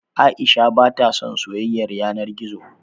Aisha ba ta son soyayar yana gizo.